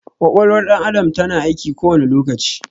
Ƙwaƙwalwar ɗan adam ta na aiki kowani lokaci